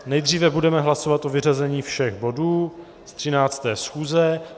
Nejdříve budeme hlasovat o vyřazení všech bodů z 13. schůze.